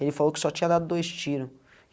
Ele falou que só tinha dado dois tiro.